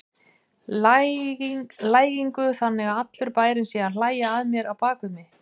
lægingu, þannig að allur bærinn sé að hlæja að mér á bak við mig.